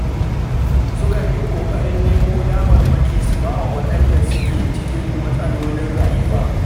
Sukan yi ƙoƙarin nemo damarmaki su ba wa waɗanda suke cikin matsalolin rayuwa.